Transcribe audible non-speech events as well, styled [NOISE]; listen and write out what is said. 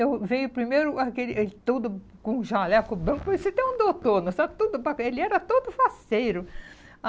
Eu veio primeiro aquele ele todo com um jaleco branco, parecia até um doutor, [UNINTELLIGIBLE] ele era todo faceiro.